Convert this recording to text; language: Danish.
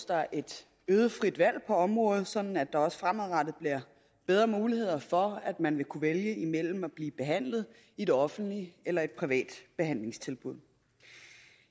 der et øget frit valg på området sådan at der også fremadrettet bliver bedre muligheder for at man vil kunne vælge imellem at blive behandlet i det offentlige eller i et privat behandlingstilbud